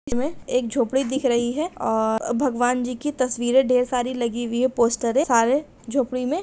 इसमे एक झोपड़ी दिख रही है और भगवान जी की तस्वीरे ढेर सारी लगी हुई है पोस्टरे सारे झोपड़ी में --